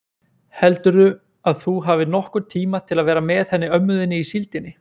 Heldurðu að þú hafir nokkurn tíma til að vera með henni ömmu þinni í síldinni?